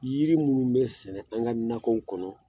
Yiri minnu bɛ sɛnɛ an ka nakɔw kɔnɔ